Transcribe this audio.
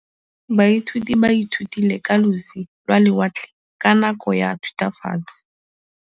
Baithuti ba ithutile ka losi lwa lewatle ka nako ya Thutafatshe.